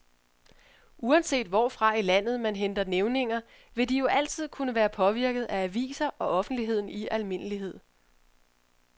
Uanset hvorfra i landet man henter nævninger, vil de jo altid kunne være påvirket af aviser og offentligheden i almindelighed.